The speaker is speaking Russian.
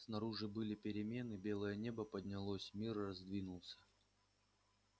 снаружи были перемены белое небо поднялось мир раздвинулся